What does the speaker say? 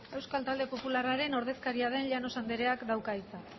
euskal talde popularraren ordezkaria den llanos andereak dauka hitza